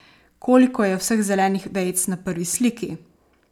Koliko je vseh zelenih vejic na prvi sliki?